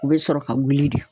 U be sɔrɔ ka wuli de